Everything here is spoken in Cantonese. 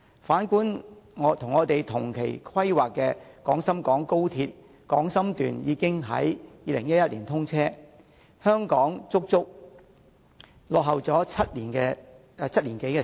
反觀與我們同期規劃的廣深港高鐵廣深段已於2011年通車，香港段足足落後了7年多。